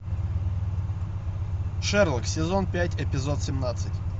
шерлок сезон пять эпизод семнадцать